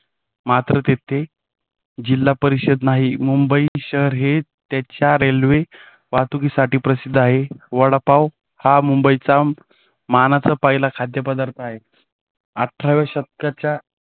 मात्र तिथे जिल्हा परिषद नाही. मुंबई शहर हे त्याच्या रेल्वे वाहतुकीसाठी प्रसिद्ध आहे. वडापाव हा मुंबईचा मानाचा पहिला खाद्यपदार्थ आहे. अठरावे शतकाच्या